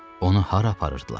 Onu hara aparırdılar?